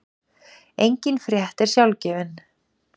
Engin frétt er sjálfgefin.